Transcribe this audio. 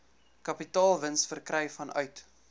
kapitaalwins verkry vanuit